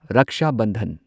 Raksha Bandhan